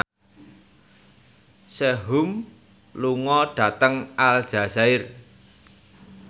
Sehun lunga dhateng Aljazair